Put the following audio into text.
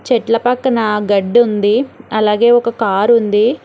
చెట్ల పక్కన గడ్డి ఉంది అలాగే ఒక కారు ఉంది.